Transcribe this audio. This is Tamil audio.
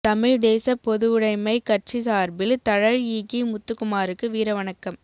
தமிழ்த் தேசப் பொதுவுடைமைக் கட்சி சார்பில் தழல் ஈகி முத்துக்குமாருக்கு வீரவணக்கம்